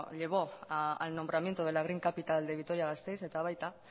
llevó al nombramiento de la green capital de vitoria gasteiz eta baita